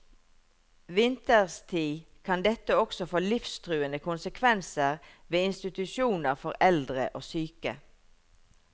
Vinterstid kan dette også få livstruende konsekvenser ved institusjoner for eldre og syke.